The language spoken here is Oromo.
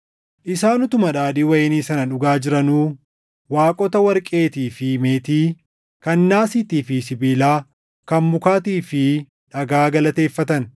Isaan utuma daadhii wayinii sana dhugaa jiranuu, waaqota warqeetii fi meetii, kan naasiitii fi sibiilaa, kan mukaatii fi dhagaa galateeffatan.